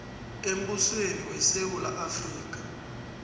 embusweni wesewula afrika